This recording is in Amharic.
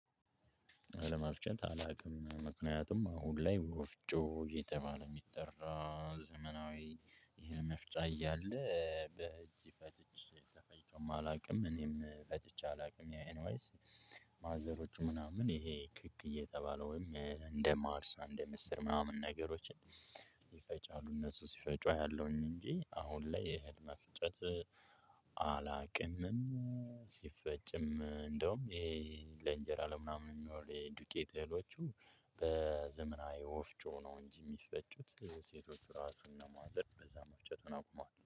አለመፍጨት አላውቅም ምክንያቱም አሁን ላይ ወፍጮ የተባለ የሚጠራ ዘመናዊ ይሄን መፍጫ እያለ በእጅ ፈጭቼ ተፈጭቶም አላውቅም እኔም ፈጭቼ አላውቅም ያኤንዋይስ ማዘሮቹ ምናምን ይሄ ክክ እየተባለውኝ እንደ ማርሳን እንደምስር ምናምን ነገሮችን ይፈጫሉ እነሱ ሲፈጩ አያለሁኝ እንጂ አሁን ላይ መፍጨት አላቅምም። ሲፈጭም እንደውም ይሄ ለእንጀራ ለምናምን የሚኖር የዱቄት እህሎቹ በዘመናዊ ወፍጮ ነው እንጂ የሚፈጩት ሴቶች ራሱን እነማዘር በዛ መፍጨት አቁመዋል